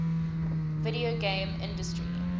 video game industry